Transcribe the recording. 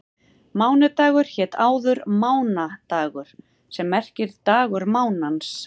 Mánudagur hét áður mánadagur sem merkir dagur mánans.